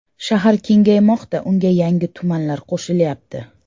Shahar kengaymoqda, unga yangi tumanlar qo‘shilyapti.